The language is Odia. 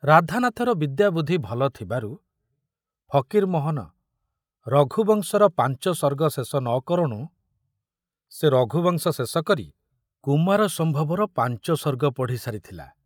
ରାଧାନାଥର ବିଦ୍ୟାବୁଦ୍ଧି ଭଲ ଥିବାରୁ ଫକୀରମୋହନ ରଘୁବଂଶର ପାଞ୍ଚ ସର୍ଗ ଶେଷ ନ କରୁଣୁ ସେ ରଘୁବଂଶ ଶେଷ କରି କୁମାର ସମ୍ଭବର ପାଞ୍ଚ ସର୍ଗ ପଢ଼ି ସାରିଥିଲା।